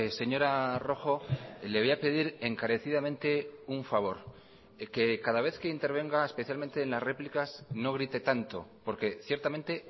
señora rojo le voy a pedir encarecidamente un favor que cada vez que intervenga especialmente en las réplicas no grite tanto porque ciertamente